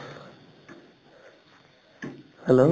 hello